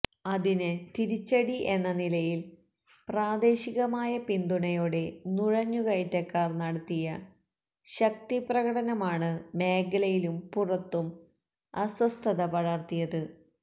അതിന് തിരിച്ചടി എന്നനിലയില് പ്രാദേശികമായ പിന്തുണയോടെ നുഴഞ്ഞുകയറ്റക്കാര് നടത്തിയ ശക്തിപ്രകടനമാണ് മേഖലയിലും പുറത്തും അസ്വസ്ഥത പടര്ത്തിയത്